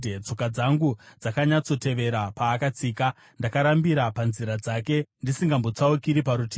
Tsoka dzangu dzakanyatsotevera paakatsika; ndakarambira panzira dzake ndisingambotsaukiri parutivi.